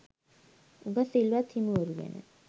උගත් සිල්වත් හිමිවරු ගැන